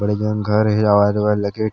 बड़े जन घर हे ल गेट --